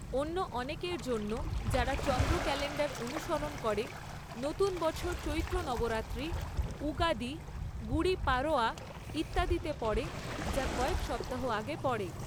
অন্য অনেকের জন্য যারা চন্দ্র ক্যালেন্ডার অনুসরণ করে, নতুন বছর চৈত্র নবরাত্রি, উগাদি, গুড়ি পারোয়া ইত্যাদিতে পড়ে, যা কয়েক সপ্তাহ আগে পড়ে।